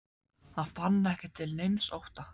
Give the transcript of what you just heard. Hann fann ekki til neins ótta.